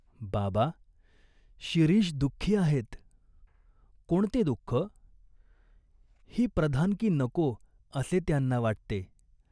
"बाबा, शिरीष दुःखी आहेत." "कोणते दुःख ?" "ही प्रधानकी नको असे त्यांना वाटते.